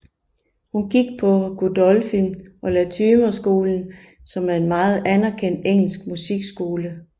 Hun gik på Godolphin and Latymer skolen som er en meget anerkendt engelsk musikskole